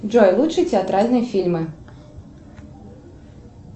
джой лучшие театральные фильмы